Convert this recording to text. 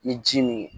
Ni ji min